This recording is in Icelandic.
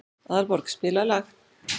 Aðalborg, spilaðu lag.